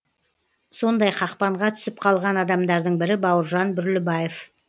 сондай қақпанға түсіп қалған адамдардың бірі бауыржан бүрлібаев